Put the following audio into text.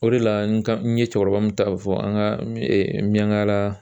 O de la n ka n ye cɛkɔrɔba min ta fɔ an ka miyangala